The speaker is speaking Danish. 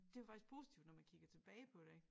Det var faktisk positivt når man kigger tilbage på det ik